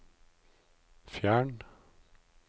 fjern